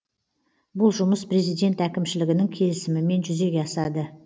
бұл жұмыс президент әкімшілігінің келісімімен жүзеге асады